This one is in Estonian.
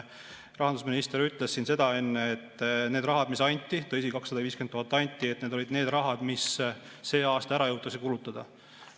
Rahandusminister ütles siin enne, et need rahad, mis anti – tõsi, 250 000 anti –, olid need rahad, mis see aasta ära jõutakse kulutada.